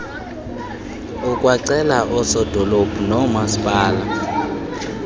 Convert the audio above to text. ukwacele oosodolophu noomaspala